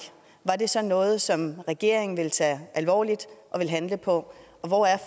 var det så noget som regeringen ville tage alvorligt og ville handle på og hvor er